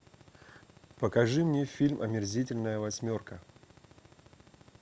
покажи мне фильм омерзительная восьмерка